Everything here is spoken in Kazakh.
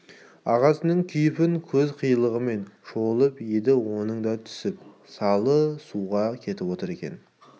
ағасының кейпін көз қиығымен шолып еді оның да түсіп салы суға кетіп отыр екен